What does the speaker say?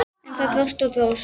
En það dróst og dróst.